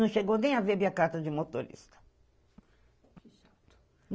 Não chegou nem a ver minha carta de motorista.